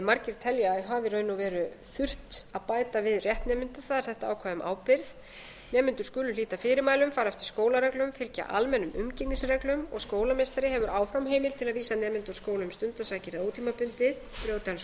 margir telja að hafi í raun og veru þurft að bæta við rétt nemenda það er sett ákvæði um ábyrgð nemendur skulu hlíta fyrirmælum fara eftir skólareglum fylgja almennum umgengnisreglum og skólameistari hefur áfram heimild til að vísa nemanda úr skóla um stundarsakir eða ótímabundið brjóti hann